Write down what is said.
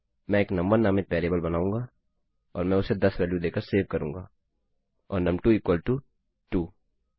मैं एक नुम1 नामित वेरिएबल बनाऊँगा और मैं उसे 10 वेल्यू देकर सेव करूँगा और नुम2 इक्वल टू 2